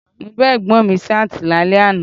Mo bá Ẹ̀gbọ́n mi Ṣáàtì lálẹ́ àná